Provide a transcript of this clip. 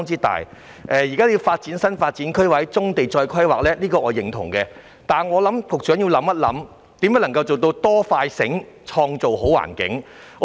對於發展新發展區或就棕地重新進行規劃，我是認同的，但我認為局長要思考如何可以"多、快、醒，創造好環境"。